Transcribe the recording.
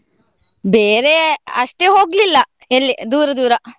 ಬೇರೆ ಅಷ್ಟೇ ಹೋಗ್ಲಿಲ್ಲ ಎಲ್ಲಿ ದೂರ ದೂರ.